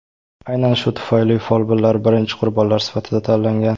Aynan shu tufayli folbinlar birinchi qurbonlar sifatida tanlangan.